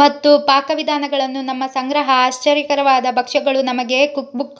ಮತ್ತು ಪಾಕವಿಧಾನಗಳನ್ನು ನಮ್ಮ ಸಂಗ್ರಹ ಆಶ್ಚರ್ಯಕರವಾದ ಭಕ್ಷ್ಯಗಳು ಮನೆಗೆ ಕುಕ್ಬುಕ್